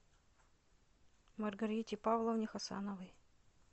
маргарите павловне хасановой